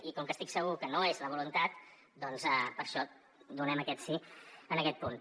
i com que estic segur que no és la voluntat per això donem aquest sí en aquest punt